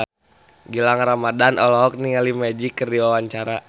Gilang Ramadan olohok ningali Magic keur diwawancara